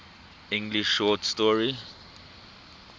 english short story